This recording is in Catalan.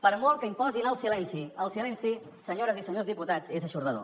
per molt que imposin el silenci el silenci senyores i senyors diputats és eixordador